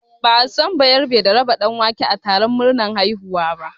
Ba'a san bayerabe da raba ɗanwake a taron murnar haihuwa ba